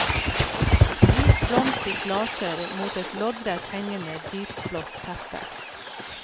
Hvit blomst i klaser mot et loddrett hengende dypblått teppe.